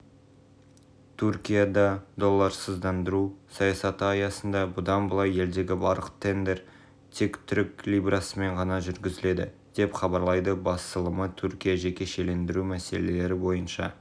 түркияда долларсыздандыру саясаты аясында бұдан былай елдегі барлық тендер тек түрік лирасымен ғана жүргізіледі деп хабарлайды басылымы түркия жекешелендіру мәселелері бойынша